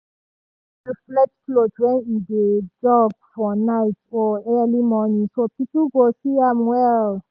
e dey wear reflect cloth when e dey jog for night or early morning so people go see am well.